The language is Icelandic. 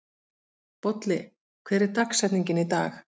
Bolli, hver er dagsetningin í dag?